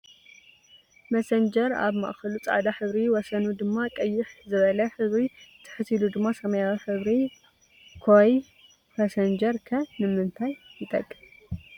መሰንጀር ኣብ ማእከሉ ፃዕዳ ሕብሪ ወሰኑ ድማ ቅይሕ ዝበለ ሕብሪ ትሕት ኢሉ ድማ ሰማያዊ ሕብሪ ኮይ ኘሰንጀር ከ ንምንታይ ይጥቅሚ።